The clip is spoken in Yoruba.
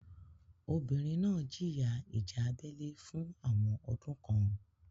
Obìnrin náà jìyà ìjà abẹ́lé fún àwọn ọdún kan.